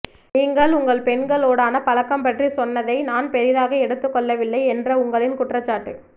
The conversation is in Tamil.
நீங்கள் உங்கள் பெண்களோடான பழக்கம் பற்றி சொன்னதை நான் பெரிதாக எடுத்துக்கொள்ளவில்லை என்ற உங்களின் குற்றச்சாட்டு